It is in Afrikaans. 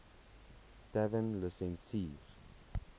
tavernelisensier